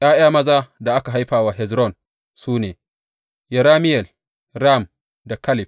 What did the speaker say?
’Ya’ya maza da aka haifa wa Hezron su ne, Yerameyel, Ram da Kaleb.